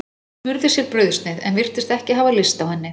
Hún smurði sér brauðsneið en virtist ekki hafa lyst á henni.